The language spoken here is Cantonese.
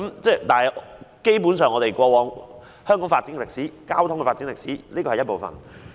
這基本上是香港交通發展歷史的一部分。